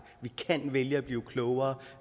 at vi kan vælge at blive klogere